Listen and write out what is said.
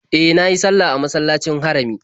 E, na yi sallah a masallacin Harami.